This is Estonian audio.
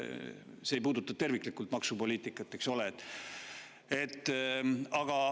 See ei puuduta terviklikult maksupoliitikat, eks ole.